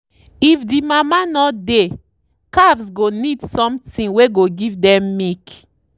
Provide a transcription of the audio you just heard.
if the mama no dey calves go need something wey go give dem milk.